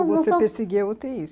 Ou você perseguia a u tê i?